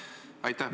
Aitäh!